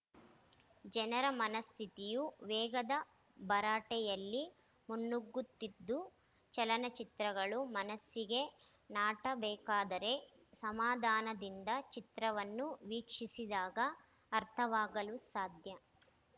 ಜನರ ಮನಸ್ಥಿತಿಯೂ ವೇಗದ ಭರಾಟೆಯಲ್ಲಿ ಮುನ್ನುಗ್ಗುತ್ತಿದ್ದು ಚಲನಚಿತ್ರಗಳು ಮನಸ್ಸಿಗೆ ನಾಟಬೇಕಾದರೆ ಸಮಾಧಾನದಿಂದ ಚಿತ್ರವನ್ನು ವೀಕ್ಷಿಸಿದಾಗ ಅರ್ಥವಾಗಲು ಸಾಧ್ಯ